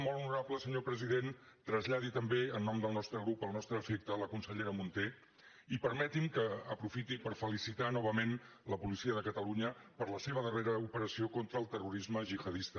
molt honorable senyor president traslladi també en nom del nostre grup el nostre afecte a la consellera munté i permeti’m que aprofiti per felicitar novament la policia de catalunya per la seva darrera operació contra el terrorisme gihadista